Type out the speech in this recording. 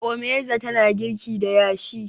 Omeiza tana girki da yashi